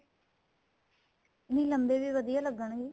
ਨਹੀਂ ਲੰਬੇ ਵੀ ਵਧੀਆ ਲੱਗਣਗੇ